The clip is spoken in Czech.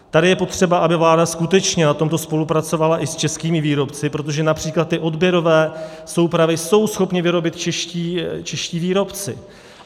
Tady je potřeba, aby vláda skutečně na tomto spolupracovala i s českými výrobci, protože například ty odběrové soupravy jsou schopni vyrobit čeští výrobci.